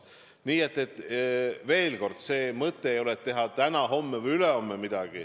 Nii et veel kord: mõte ei ole teha midagi täna, homme või ülehomme.